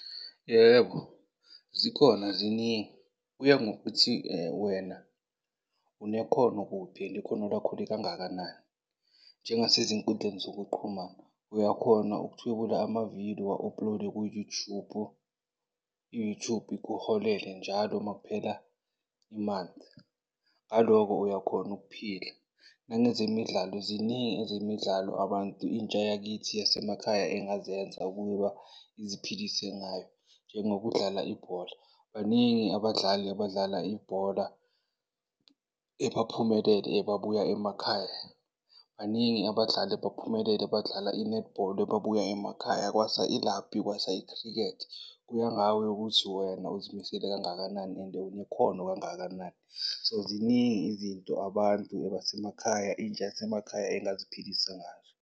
Yebo, zikhona ziningi. Kuya ngokuthi, wena unekhono kuphi and ikhono lakho likangakanani. Njengasezinkundleni zokuqhumana uyakhona ukuthwebula amavidiyo uwa-upload-e ku-YouTube, i-YouTube ikuholele njalo makuphela i-month. Ngaloko, uyakhona ukuphila. Nangezemidlalo, ziningi ezemidlalo abantu, intsha yakithi yasemakhaya engazenza ukuba iziphilise ngayo, njengokudlala ibhola. Baningi abadlali abadlala ibhola ebaphumelele ebabuya emakhaya. Baningi abadlali abaphumelele abadlala i-netball ababuya emakhaya, kwasa ilabhi, kwasa i-cricket. Kuya ngawe ukuthi wena uzimisele kangakanani and unekhono kangakanani. So, ziningi izinto abantu ebasemakhaya, intsha yasemakhaya engaziphilisa ngazo.